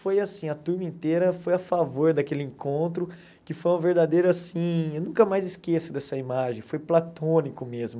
Foi assim, a turma inteira foi a favor daquele encontro, que foi um verdadeiro assim, eu nunca mais esqueço dessa imagem, foi platônico mesmo.